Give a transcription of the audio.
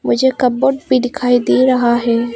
मुझे कपबोर्ड भी दिखाई दे रहा है।